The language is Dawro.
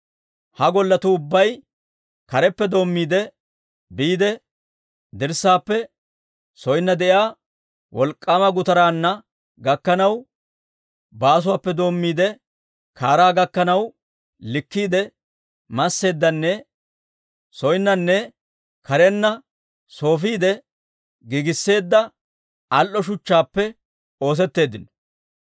Ha golletu ubbay, kareppe doommiide biide dirssaappe soonna de'iyaa wolk'k'aama gutaraa gakkanaw, baasuwaappe doommiide kaaraa gakkanaw, likkiide masseeddanne soonnanne karenna soofiide giigisseedda al"o shuchchaappe oosetteeddino.